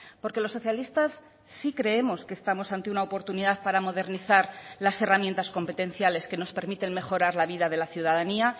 porque los socialistas sí creemos que estamos ante una oportunidad para modernizar las herramientas competenciales que nos permiten mejorar la vida de la ciudadanía